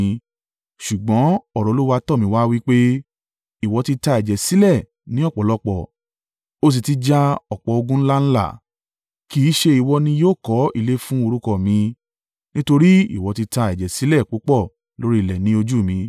Ṣùgbọ́n ọ̀rọ̀ Olúwa tọ̀ mí wá wí pé, ‘Ìwọ ti ta ẹ̀jẹ̀ sílẹ̀ ní ọ̀pọ̀lọpọ̀, o sì ti ja ọ̀pọ̀ ogun ńlá ńlá, kì í ṣe ìwọ ni yóò kọ́ ilé fún orúkọ mi, nítorí ìwọ ti ta ẹ̀jẹ̀ sílẹ̀ púpọ̀ lórí ilẹ̀ ní ojú mi.